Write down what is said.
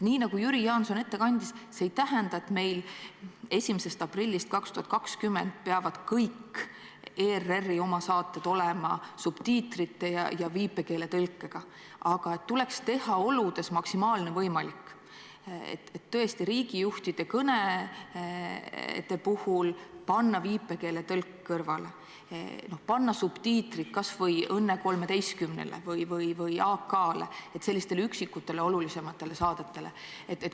Nii nagu Jüri Jaanson ette kandis, see ei tähenda, et meil 1. aprillist 2020 peavad kõik ERR-i omasaated olema subtiitrite ja viipekeeletõlkega, aga tuleks teha maksimaalne võimalik: tõesti, riigijuhtide kõnede puhul panna viipekeeletõlk kõrvale, panna subtiitrid kas või "Õnne 13-le" või "Aktuaalsele kaamerale", sellistele üksikutele olulisematele saadetele.